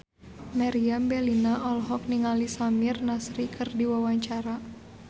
Meriam Bellina olohok ningali Samir Nasri keur diwawancara